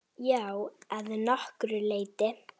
Já, að nokkru leyti.